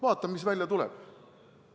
Vaatame, mis välja tuleb.